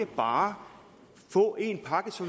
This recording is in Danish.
bare få én pakke så